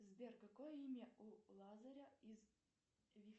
сбер какое имя у лазаря из